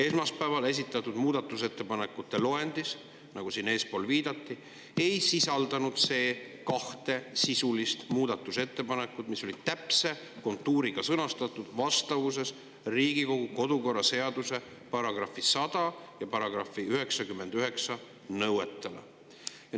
Esmaspäeval esitatud muudatusettepanekute loendis, nagu siin eespool viidati, ei sisaldunud kahte sisulist muudatusettepanekut, mis olid täpse kontuuriga sõnastatud vastavuses Riigikogu kodu‑ ja töökorra seaduse § 100 ja § 99 nõuetele.